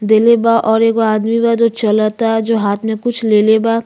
देले बा और एगो आदमी बा जो चलता जो हाथ में कुछ लेले बा।